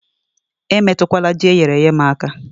Emetụkwala Ji eyere èyé m aka